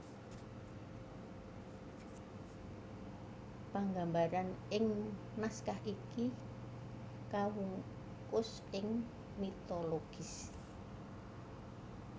Panggambaran ing naskah iki kawungkus ing mitologis